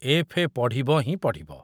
FA. ପଢ଼ିବ ହିଁ ପଢ଼ିବ।